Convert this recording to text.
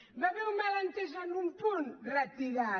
hi va haver un malentès en un punt retirat